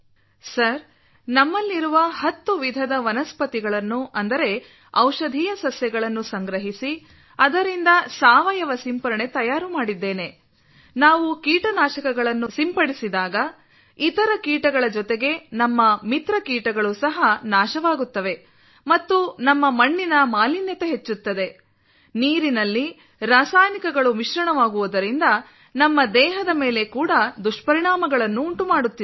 sir ನಮ್ಮಲ್ಲಿರುವ ಹತ್ತು ವಿಧದ ವನಸ್ಪತಿಗಳನ್ನುಅಂದರೆ ಔಷಧೀಯ ಸಸ್ಯಗಳನ್ನು ಸಂಗ್ರಹಿಸಿ ಅದರಿಂದ ಸಾವಯವ ಸಿಂಪರಣೆ ತಯಾರು ಮಾಡಿದ್ದೇನೆ ನಾವು ಕೀಟನಾಶಕಗಳನ್ನು ಸಿಂಪಡಿಸಿದಾಗ ಇತರ ಕೀಟಗಳ ಜೊತೆಗೆ ನಮ್ಮ ಮಿತ್ರ ಕೀಟಗಳು ಸಹ ನಾಶವಾಗುತ್ತವೆ ಮತ್ತು ನಮ್ಮ ಮಣ್ಣಿನ ಮಾಲಿನ್ಯತೆ ಹೆಚ್ಚುತ್ತದೆ ನೀರಿನಲ್ಲಿ ರಾಸಾಯನಿಕಗಳು ಮಿಶ್ರಣವಾಗುವುದರಿಂದ ನಮ್ಮ ದೇಹದ ಮೇಲೆ ಕೂಡ ದುಷ್ಪರಿಣಾಮಗಳನ್ನು ಉಂಟುಮಾಡುತ್ತಿದೆ